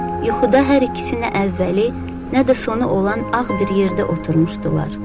Yuxuda hər ikisi nə əvvəli, nə də sonu olan ağ bir yerdə oturmuşdular.